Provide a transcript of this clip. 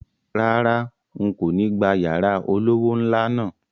Rárá, n̄ kò ní gba yàrá olówó ńlá náà